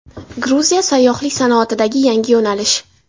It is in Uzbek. Gruziya sayyohlik sanoatidagi yangi yo‘nalish.